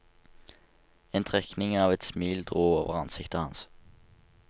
En trekning av et smil dro over ansiktet hans.